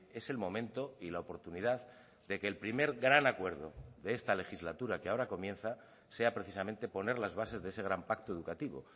es el momento y la oportunidad de que el primer gran acuerdo de esta legislatura que ahora comienza sea precisamente poner las bases de ese gran pacto educativo